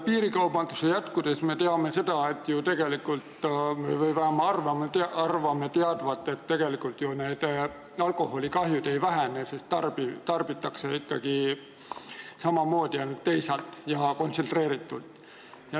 Piirikaubanduse jätkudes me teame või arvame teadvat, et alkoholikahjud ju ei vähene, sest tarbitakse ikkagi samamoodi, ainult ostetakse teisalt ja kontsentreeritult.